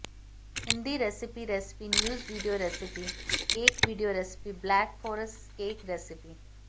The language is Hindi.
Hindi recipe recipe news video recipe cake video recipe black forest cake recipe